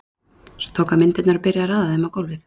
Svo tók hann myndirnar og byrjaði að raða þeim á gólfið.